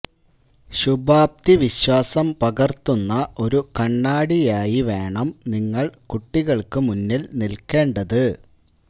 ശുഭാപ്തിവിശ്വാസം പകര്ത്തുന്ന ഒരു കണ്ണാടിയായി വേണം നിങ്ങള് കുട്ടികള്ക്കു മുന്നില് നില്ക്കേണ്ടത്